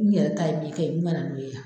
N yɛrɛ ta ye min kɛ ye n mana n'o ye yan.